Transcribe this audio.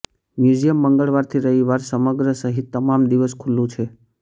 museum મંગળવાર થી રવિવાર સમગ્ર સહિત તમામ દિવસ ખુલ્લું છે